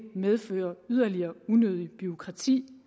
medfører yderligere unødigt bureaukrati